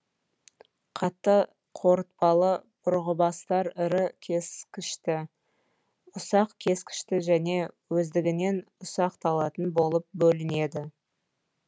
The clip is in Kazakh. қатты қорытпалы бұрғыбастар ірі кескішті ұсақ кескішті және өздігінен ұсақталатын болып бөлінеді